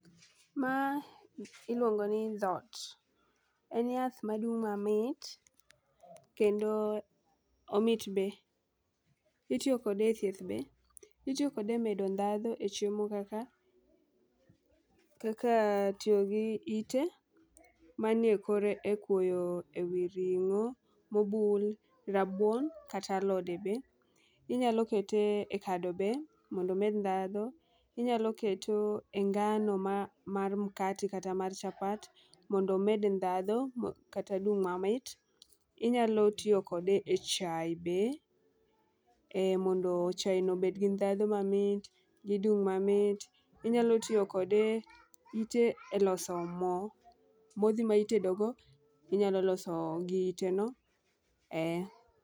Ma iluongo ni dhot, en yath madung' mamit kendo omit be. Itiyo kode e thieth be itiyo kode e medo ndhadhu e chiemo kaka kaka tiyo gi ite mane kore e kuoyo ewi ring'o mobul, rabuon kata alode be. Inyalo kete e kado be mondo omed ndhadhu, inyalo kete e ngano mar mkate kata mar chapat mondo omed ndhadhu kata odum mamit .Inyalo tiyo kode e chai be mondo chai no obed gi ndhadhu mamit dhi dum mamit .Inyalo tiyo kode ite e loso moo, modhi mitedo go inyalo loso gi ite no ee.